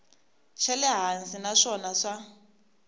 xa le hansi naswona swa